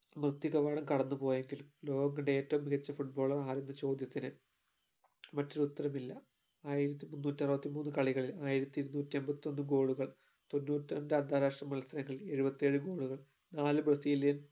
കവാടം കടന്നു പോയെങ്കിലും ലോകം കണ്ട ഏറ്റവും മികച്ച footballer ആരെന്ന ചോദ്യത്തിന് മറ്റൊരു ഉത്തരമില്ല ആയിരത്തിമുന്നൂറ്റിഅറുപത്തിമൂന്നു കളികളിൽ ആയിരത്തിഇരുന്നൂറ്റിയമ്പത്തൊന്നു goal കൾ തൊണ്ണൂറ്റിരണ്ട്‍ അന്താരാഷ്ട്ര മത്സരങ്ങൾ എഴുപത്തിയേഴു goal കൾ നാല് brazilian